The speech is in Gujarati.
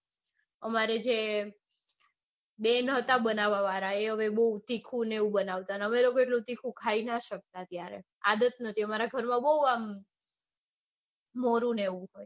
અમારી જે બેન હતા બનાવા વાળા એ હવે બૌ તીખું ને એવું બનાવતા અને અમે લોકો એટલું તીખું ખાઈ ના શકતા ત્યારે આદત નતી અમારા ઘરમાં આમ મોલુને એવું હોય